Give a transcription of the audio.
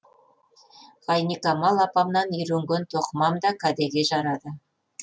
ғайникамал апамнан үйренген тоқымам да кәдеге жарады